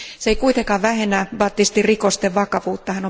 Se ei kuitenkaan vähennä Battistin rikosten vakavuutta.